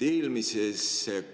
Eelmises